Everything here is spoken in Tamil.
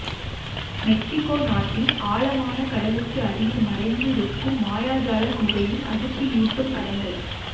மெக்ஸிக்கோ நாட்டின் ஆழமான கடலுக்கு அடியில் மறைந்து இருக்கும் மாயாஜால குகையின் அதிர்ச்சியூட்டும் படங்கள்